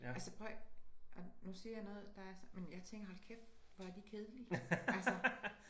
Altså prøv og nu siger jeg noget der er men jeg tænker hold kæft hvor er de kedelige altså